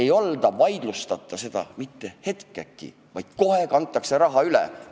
Ja seda ei vaidlustata mitte hetkegi, vaid kohe kantakse raha üle.